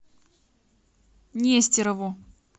нестерову